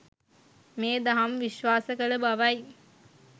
මේ දහම් විශ්වාස කළ බවයි.